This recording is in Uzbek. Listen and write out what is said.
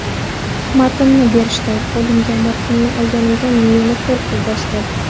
Matnni berishdi, qo‘limga matnni olganimda meni qo‘rquv bosdi.